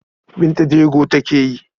Binta jego take yi?